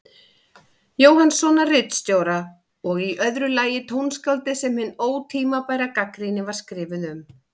Jóhannssonar ritstjóra, og í öðru lagi tónskáldið sem hin ótímabæra gagnrýni var skrifuð um.